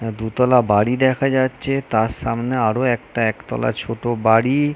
আ দুতলা বাড়ি দেখা যাচ্ছে তার সামনে আরো একটা একতলা ছোট বাড়ি-ই--